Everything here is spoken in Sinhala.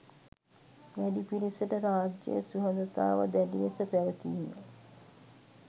වැඩි පිරිසට රාජ්‍ය සුහදතාව දැඩි ලෙස පැවතීම